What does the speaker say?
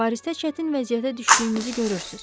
Parisdə çətin vəziyyətə düşdüyümüzü görürsünüz.